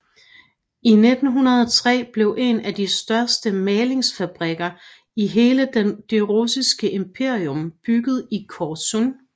I 1903 blev en af de største malingsfabrikker i hele det russiske imperium bygget i Korsun